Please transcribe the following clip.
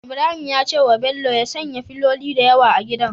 Ibrahim ya ce bello ya sanya filoli da yawa a gidan